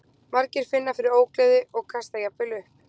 Margir finna fyrir ógleði og kasta jafnvel upp.